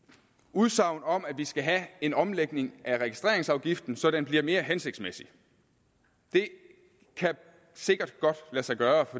udsagn om at vi skal have en omlægning af registreringsafgiften så den bliver mere hensigtsmæssig det kan sikkert godt lade sig gøre